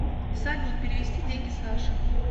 салют перевести деньги саше